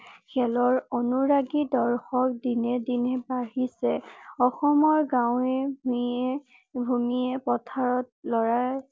cricket খেলৰ অনুৰাগী দৰ্শক দিনে দিনে বাঢ়িছে অসমৰ গাৱেঁ ভূঞে ভূমিয়ে পথাৰত লৰায়ে